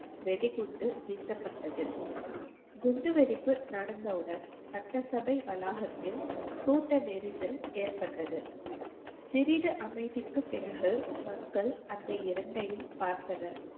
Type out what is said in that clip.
வெடிகுண்டு வீசப்பட்டது குண்டுவெடிப்பு நடந்தவுடன் சட்டசபை வளாகத்தில் கூட்ட நெரிசல் ஏற்பட்டது சிறிது அமைதிக்கு பிறகு மக்கள் அந்த இரண்டையும் பார்த்தனர்